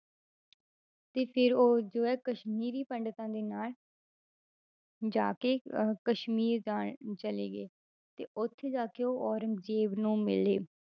ਤੇ ਫਿਰ ਉਹ ਜੋ ਹੈ ਕਸ਼ਮੀਰੀ ਪੰਡਿਤਾਂ ਦੇ ਨਾਲ ਜਾ ਕੇ ਅਹ ਕਸ਼ਮੀਰ ਦਾ ਚਲੇ ਗਏ, ਤੇ ਉੱਥੇ ਜਾ ਕੇ ਉਹ ਔਰੰਗਜ਼ੇਬ ਨੂੰ ਮਿਲੇ।